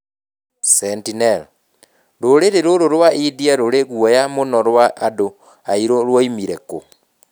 Sentinel: Rũrĩrĩ rũrũ rwa India rũrĩ guoya mũno rwa andũ airũ rwoimire kũ?